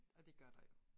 Og det gør der jo